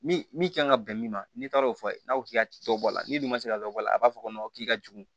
Min min kan ka bɛn min ma n'i taara o fɔ n'a ko k'i ka to a la ni dun ma se ka dɔ bɔ a la a b'a fɔ ko k'i ka jugu